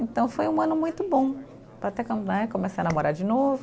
Então foi um ano muito bom, para até né, começar a namorar de novo.